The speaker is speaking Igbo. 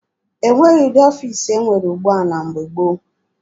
E nweghị ụdị ọfiisi e nwere ugbua na mgbe gboo.